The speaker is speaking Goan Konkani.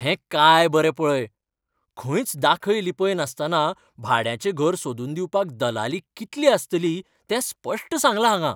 हें काय बरें पळय. खंयच दाखय लिपय नासतना भाड्याचें घर सोदून दिवपाक दलाली कितली आसतली तें स्पश्ट सांगलां हांगां.